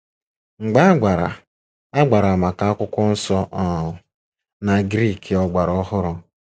Mgba agbara agbara maka Akwụkwọ Nsọ um na Griiki ọgbara ọhụrụ.